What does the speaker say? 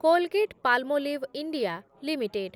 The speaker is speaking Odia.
Colgate Palmolive India limited